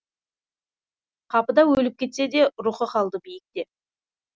қапыда өліп кетсе де рухы қалды биікте